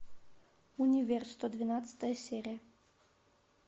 универ сто двенадцатая серия